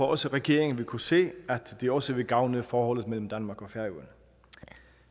også regeringen vil kunne se at det også vil gavne forholdet mellem danmark og færøerne